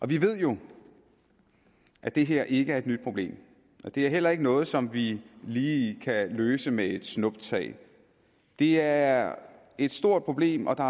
ved jo at det her ikke er et nyt problem og det er heller ikke noget som vi lige kan løse med et snuptag det er et stort problem og der